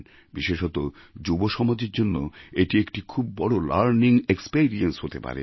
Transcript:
বিশেষত যুব সমাজের জন্য এটি একটি খুব বড় লার্নিং এক্সপেরিয়েন্স হতে পারে